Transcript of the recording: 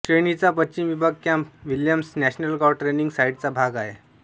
श्रेणीचा पश्चिम विभाग Camp Williams National Guard training साइटचा भाग आहे